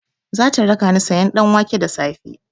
Zata rakani sayan ɗanwake da safe.